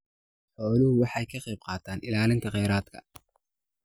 Xooluhu waxay ka qaybqaataan ilaalinta kheyraadka.